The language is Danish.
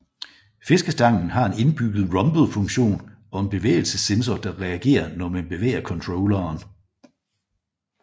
Fiskestangen har en indbygget rumble funktion og en bevægelsessensor der reagere når man bevæger controlleren